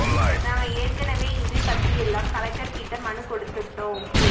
நாங்க ஏற்கனவே இது பத்தியெல்லாம் கலெக்டர் கிட்ட மனு கொடுத்துட்டோம்